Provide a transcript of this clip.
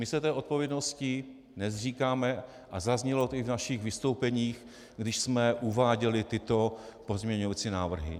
My se té odpovědnosti nezříkáme a zaznělo to i v našich vystoupeních, když jsme uváděli tyto pozměňovací návrhy.